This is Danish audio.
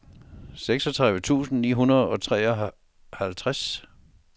seksogtredive tusind ni hundrede og treoghalvtreds